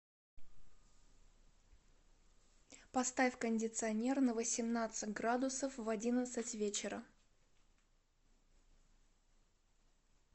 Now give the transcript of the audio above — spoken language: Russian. поставь кондиционер на восемнадцать градусов в одиннадцать вечера